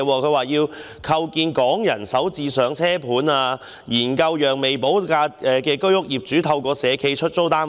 她提出構建"港人首置上車盤"，以及"研究讓未補地價的居屋業主透過社企出租單位"。